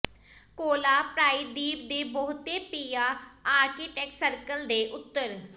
ਕੋਲਾ ਪ੍ਰਾਇਦੀਪ ਦੇ ਬਹੁਤੇ ਪਿਆ ਆਰਕਟਿਕ ਸਰਕਲ ਦੇ ਉੱਤਰ